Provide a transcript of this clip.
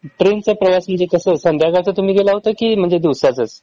ट्रेनचा प्रवास म्हंजे कसं? संध्याकाळचं तुम्ही गेला होता कि म्हंजे दिवासाचंच?